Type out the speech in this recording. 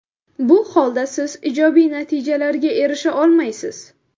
Bu holda siz ijobiy natijalarga erisha olmaysiz.